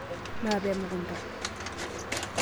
Maape emukunda.